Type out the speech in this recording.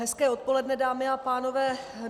Hezké odpoledne, dámy a pánové.